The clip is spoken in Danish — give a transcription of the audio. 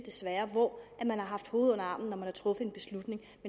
hvor man har haft hovedet under armen når man har truffet en beslutning